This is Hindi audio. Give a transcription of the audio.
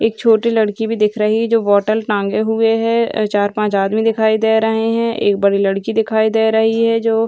एक छोटी लड़की भी दिख रही है जो बोतल टंगे हुए है चार-पांच आदमी दिखाई दे रहे हैं एक बड़ी लड़की दिखाई दे रही है जो --